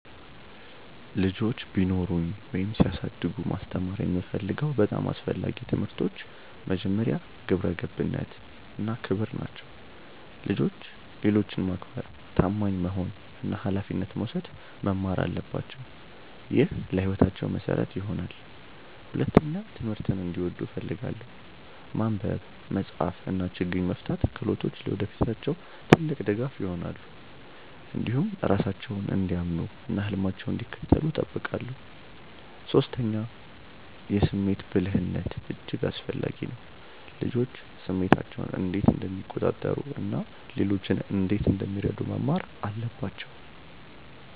ልጆች ቢኖሩኝ ወይም ሲያድጉ ማስተማር የምፈልገው በጣም አስፈላጊ ትምህርቶች መጀመሪያ፣ ግብረ ገብነት እና ክብር ናቸው። ልጆች ሌሎችን ማክበር፣ ታማኝ መሆን እና ኃላፊነት መውሰድ መማር አለባቸው። ይህ ለሕይወታቸው መሠረት ይሆናል። ሁለተኛ፣ ትምህርትን እንዲወዱ እፈልጋለሁ። ማንበብ፣ መጻፍ እና ችግኝ መፍታት ክህሎቶች ለወደፊታቸው ትልቅ ድጋፍ ይሆናሉ። እንዲሁም ራሳቸውን እንዲያምኑ እና ህልማቸውን እንዲከተሉ እጠብቃለሁ። ሶስተኛ፣ የስሜት ብልህነት እጅግ አስፈላጊ ነው። ልጆች ስሜታቸውን እንዴት እንደሚቆጣጠሩ እና ሌሎችን እንዴት እንደሚረዱ መማር አለባቸው